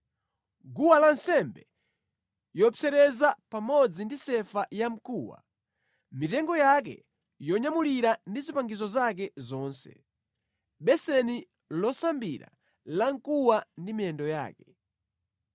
guwa lansembe yopsereza pamodzi ndi sefa yamkuwa, mitengo yake yonyamulira ndi zipangizo zake zonse, beseni losambira lamkuwa ndi miyendo yake;